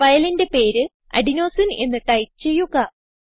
ഫയലിന്റെ പേര് അഡെനോസിനെ എന്ന് ടൈപ്പ് ചെയ്യുക